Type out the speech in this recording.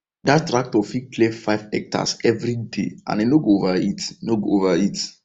that tractor fit clear five hectares every day and e no go overheat no go overheat